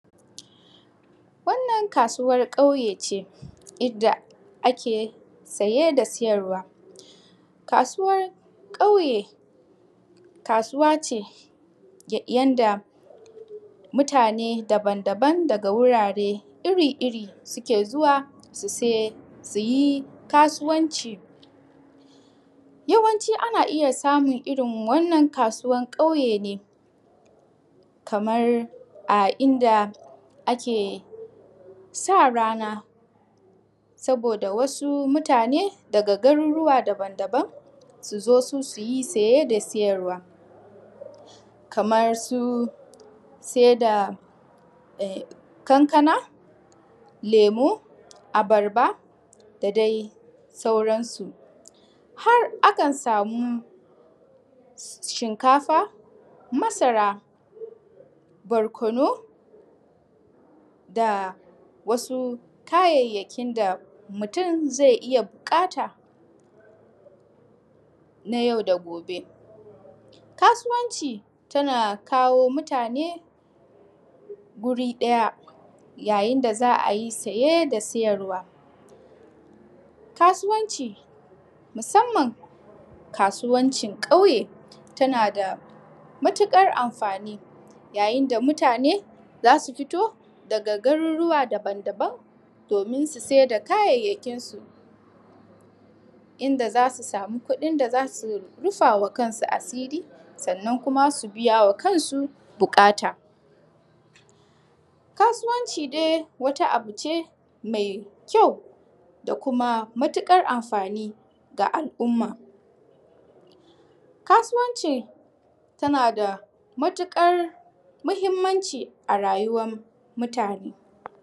Wannan kasusar kauye ce, inda ake saye da sayarwa. Kasuwar kauye kasuwar ce yadda mutane daban daban daga wurare iri iri suke zuwa suyi kasuwar. Yawanci ana iyya samun irrin wannan kasuwar kauye ne kamar a inda ake sa rana saboda wasu mutane daga garuruwa daban daban suzo su suyi saye da sayarwa. Kamar su sai da ƙanƙana, lemu, abarba da dai sauran su. Har akan samu shinkafa, masara, barkono da wasu kayyakin da mutun zai iyya buƙata na yau da gobe. Kasuwanci tana kawo mutane guri ɗaya ya yinda za'ayi saye da sayarwa. Kasuwanci musamman kasuwanci kauye tana da matukar amfani yayin da mutane zasu fito daga Garuruwa daban daban domin su saida kayayyakin su, inda zasu samu kuɗin da zasu rufawa kansu asiri sannan kuma su biyama kansu buƙata. Kasuwanci dai wata abune mai kyau da kuma matuƙar amfani ga al umma, kasuwanci tana da matuƙar mahimmanci a rayuwar mutane.